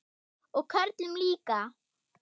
Og körlum líka.